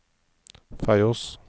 Feios